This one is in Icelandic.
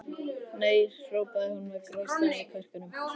Nei hrópaði hún með grátstafinn í kverkunum.